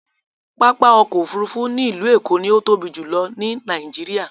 Pápá ọkọ̀ òfurufú ni ilu Eko ni o tobi julọ ni Nàìjíríà